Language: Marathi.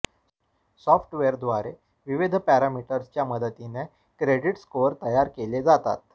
सॉफ्टवेअरद्वारे विविध पॅरामीटर्सच्या मदतीने क्रेडिट स्कोअर तयार केले जातात